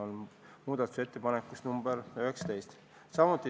Selle kohta on muudatusettepanek nr 19.